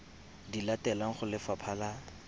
di latelang go lefapha la